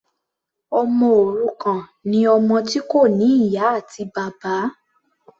Ọmọ òrukàn ni ọmọ tí kò ní ìyá àti bàbá.